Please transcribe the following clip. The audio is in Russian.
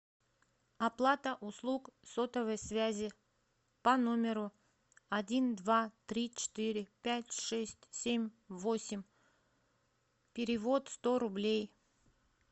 оплата услуг сотовой связи по номеру один два три четыре пять шесть семь восемь перевод сто рублей